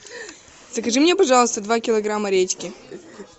закажи мне пожалуйста два килограмма редьки